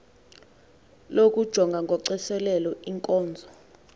lokujonga ngocoselelo iinkonzo